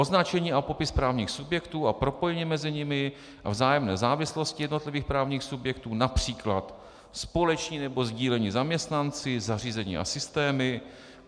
Označení a popis právních subjektů a propojení mezi nimi a vzájemné závislosti jednotlivých právních subjektů, například společní nebo sdílení zaměstnanci, zařízení a systémy;